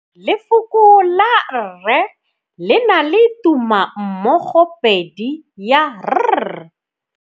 Lefoko la rre le na le tumammogôpedi ya, r.